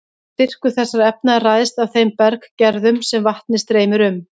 Styrkur þessara efna ræðst af þeim berggerðum sem vatnið streymir um.